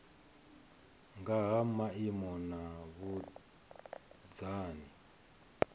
nga ha maimo na vhunzani